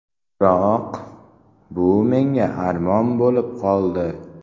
Biroq bu menga armon bo‘lib qoldi.